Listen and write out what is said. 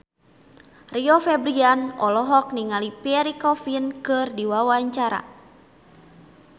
Rio Febrian olohok ningali Pierre Coffin keur diwawancara